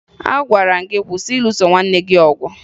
Agwara m gị kwụsị ịlụso nwanne gị ọgụ!